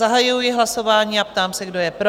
Zahajuji hlasování a ptám se, kdo je pro?